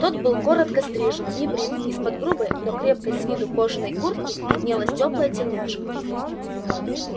тот был коротко стрижен небрит из-под грубой но крепкой с виду кожаной куртки виднелась тёплая тельняшка